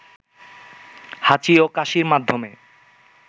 হাঁচি ও কাশির মাধ্যমে